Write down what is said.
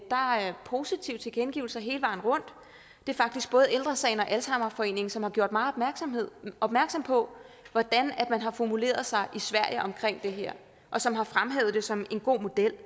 positive tilkendegivelser hele vejen rundt det er faktisk både ældre sagen og alzheimerforeningen som har gjort mig opmærksom på hvordan man har formuleret sig i sverige om det her og som har fremhævet det som en god model